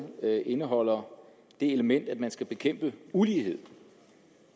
indeholder det element at man skal bekæmpe ulighed